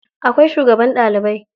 Akwai shugaban ɗalibai.